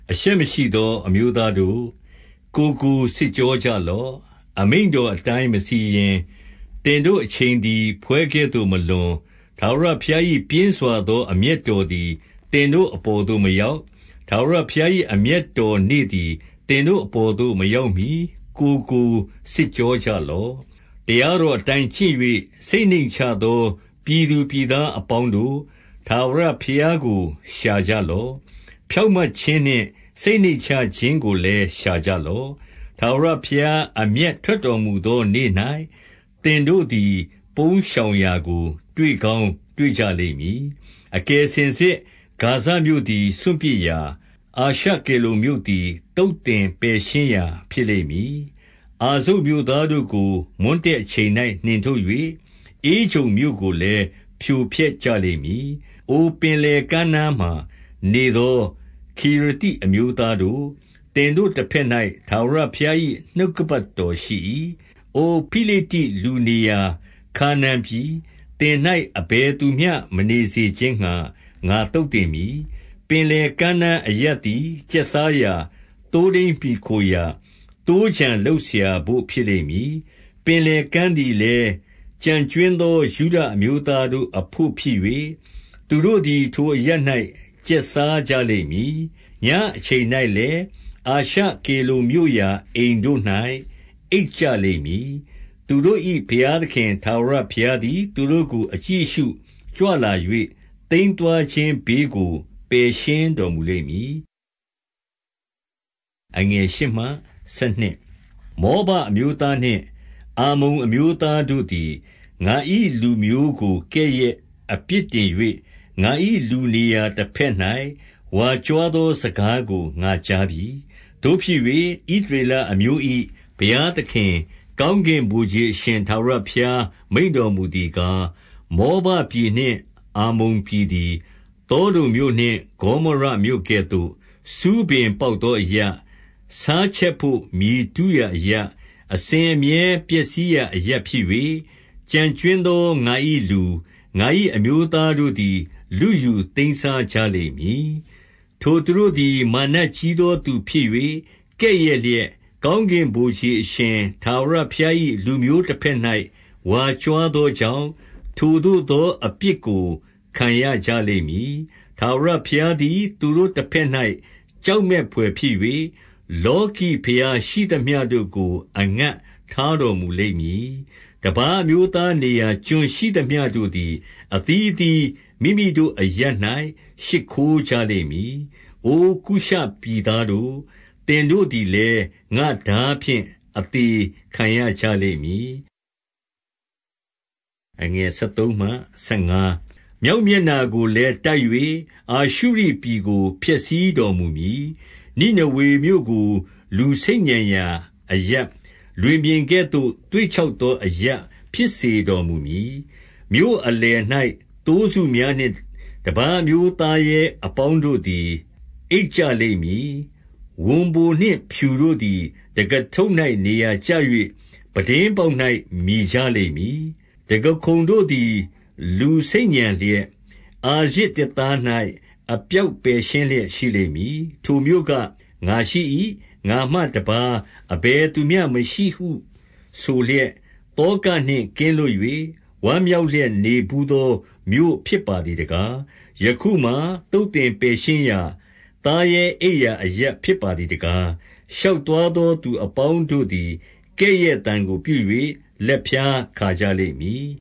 အရှက်မရှိသော အမျိုးသားတို့၊ ကိုယ်ကို စစ် ကြောကြလော့။ 2 အမိန့်တော်အတိုင်း မစီရင်၊ သင်တို့ အချိန်သည် ဖွဲကဲ့သို့မလွန်၊ ထာဝရဘုရား၏ပြင်းစွာသော အမျက် တော်သည် သင်တို့အပေါ်သို့မရောက်၊ ထာဝရဘုရား၏ အမျက်တော်နေ့သည် သင်တို့အပေါ်သို့ မရောက်မီ ကိုယ် ကို စစ်ကြောကြလော့။ 3 တရားတော်အတိုင်း ကျင့်၍ စိတ်နှိမ့်ချသော ပြည်သူပြည်သားအပေါင်းတို့၊ ထာဝရဘုရားကို ရှာကြ လော့။ ဖြောင့်မတ်ခြင်းနှင့် စိတ်နှိမ့်ချခြင်းကိုလည်း ရှာကြလော့။ ထာဝရဘုရား အမျက်ထွက်တော်မူသောနေ့ ၌ သင်တို့သည် ပုန်းရှောင်ရာကို တွေ့ကောင်းတွေ့ကြ လိမ့်မည်။ 4 အကယ်စင်စစ် ဂါဇမြို့သည် စွန့်ပစ်ရာ၊ အာရှ ကေလုန်မြို့သည် သုတ်သင်ပယ်ရှင်းရာ ဖြစ်လိမ့်မည်။ အာဇုတ်မြို့သားတို့ကို မွန်းတည့်အချိန်၌ နှင်ထုတ်၍၊ ဧကြုန်မြို့ကိုလည်း ဖြိုဖျက်ကြလိမ့်မည်။ 5 အို ပင်လယ်ကမ်းနားမှာ နေသော ခေရသိ အမျိုးသားတို့၊ သင်တို့ တဘက်၌ ထာဝရဘုရား၏ နှုတ် ကပတ်တော်ရှိ၏။ အို ဖိလိတ္တိလူနေရာ ခါနာန်ပြည်၊ သင်၌ အဘယ်သူမျှ မနေစေခြင်းငှါ ငါသုတ်သင်မည်။ 6 ပင်လယ်ကမ်းနား အရပ်သည် ကျက်စားရာ၊ သိုးထိန်းမှီခိုရာ၊ သိုးခြံလုပ်စရာဘို့ ဖြစ်လိမ့်မည်။ 7 ပင်လယ်ကမ်းသည်လည်း ကျန်ကြွင်းသော ယုဒ အမျိုးသားတို့အဘို့ဖြစ်၍၊ သူတို့သည် ထိုအရပ်၌ ကျက်စားကြလိမ့်မည်။ ညအချိန်၌လည်း အာရှကေလုန် မြို့ရာအိမ်တို့၌ အိပ်ကြလိမ့်မည်။ သူတို့၏ ဘုရားသခင် ထာဝရဘုရားသည် သူတို့ကို အကြည့်အရှုကြွလာ၍၊ သိမ်း သွားခြင်းဘေးကို ပယ်ရှင်းတော်မူလိမ့်မည်။ 8 မောဘအမျိုးသားနှင့် အမ္မုန်အမျိုးသားတို့သည် ငါ၏လူမျိုးကို ကဲ့ရဲ့အပြစ်တင်၍၊ ငါ၏လူနေရာတဘက်၌ ဝါကြွားသော စကားကို ငါကြားပြီ။ 9 သို့ဖြစ်၍၊ ဣသရေလအမျိုး၏ ဘုရားသခင်၊ ကောင်းကင်ဗိုလ်ခြေ အရှင်ထာဝရဘုရားမိန့်တော်မူသည် ကား၊ မောဘပြည်နှင့် အမ္မုန်ပြည်သည်၊ သောဒုံမြို့နှင့် ဂေါမောရမြို့ကဲ့သို့ ဆူးပင်ပေါက်သောအရပ်၊ ဆားချက်ဘို့ မြေတူးရာအရပ်၊ အစဉ်အမြဲပျက်စီးရာ အရပ်ဖြစ်၍၊ ကျန်ကြွင်းသော ငါ၏လူ၊ ငါ၏အမျိုးသားတို့သည် လုယူ သိမ်းစားကြလိမ့်မည်။ 10 ထိုသူတို့သည် မာနကြီးသော သူဖြစ်၍၊ ကဲ့ရဲ့ လျက်၊ ကောင်းကင်ဗိုလ်ခြေအရှင်ထာဝရဘုရား၏ လူမျိုး တဘက်၌ ဝါကြွားသောကြောင့် ထိုသို့သော အပြစ်ကို ခံရကြလိမ့်မည်။ 11 ထာဝရဘုရားသည် သူတို့တဘက်၌ ကြောက် မက်ဘွယ်ဖြစ်၍၊ လောကီဘုရားရှိသမျှတို့ကို အငတ်ထား တော်မူလိမ့်မည်။ တပါးအမျိုးသားနေရာ ကျွန်းရှိသမျှတို့ သည် အသီးအသီး မိမိတို့အရပ်၌ ရှိခိုးကြလိမ့်မည်။ 12 အို ကုရှပြည်သားတို့၊ သင်တို့သည်လည်း ငါ့ထား ဖြင့် အသေခံရကြလိမ့်မည်။ 13 မြောက်မျက်နှာကိုလည်း တိုက်၍ အာရှုရိပြည် ကို ဖျက်ဆီးတော်မူမည်။ နိနေဝေမြို့ကို လူဆိတ်ညံရာ အရပ်၊ လွင်ပြင်ကဲ့သို့ သွေ့ခြောက်သော အရပ်ဖြစ်စေ တော်မူမည်။ 14 မြို့အလယ်၌ သိုးစုများနှင့် တပါးအမျိုးသားရဲ အပေါင်းတို့သည် အိပ်ကြလိမ့်မည်။ ဝံပိုနှင့်ဖြူတို့သည် တံခါးထုပ်၌ နေရာကျ၍ ပြတင်းပေါက်၌ မြည်ကြလိမ့် မည်။ တံခါးခုံတို့သည် လူဆိတ်ညံလျက်၊ အာရဇ်သစ်သား ၌ အပြော်ပယ်ရှင်းလျက် ရှိလိမ့်မည်။ 15 ထိုမြို့က၊ ငါရှိ၏။ ငါမှတပါး အဘယ်သူမျှ မရှိ ဟု ဆိုလျက် သောကနှင့် ကင်းလွတ်၍ ဝမ်းမြောက်လျက် နေဘူးသော မြို့ဖြစ်ပါသည်တကား။ ယခုမှာ သုတ်သင် ပယ်ရှင်းရာ၊ သားရဲအိပ်ရာ သူအပေါင်းတို့သည် ကဲ့ရဲ့သံ ကို ပြု၍ လက်ဖျားခါကြလိမ့်မည်